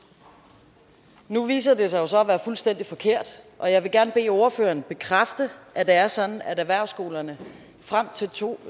nu viser det sig jo så at være fuldstændig forkert og jeg vil gerne bede ordføreren bekræfte at det er sådan at erhvervsskolerne frem til to